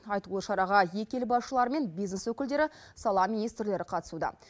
айтулы шараға екі ел басшылары мен бизнес өкілдері сала министрлері қатысуда